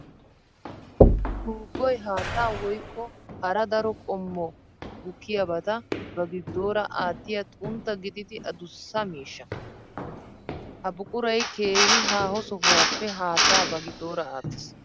Tuubboy haatta woykko hara daro qommo gukkiyabatta ba gidora aatiya xuntta gididdi adussa miishsha. Ha buquray keehi haaho sohuwappe haatta ba giddora aattes.